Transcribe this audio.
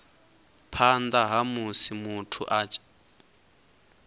phanḓa ha musi muthu a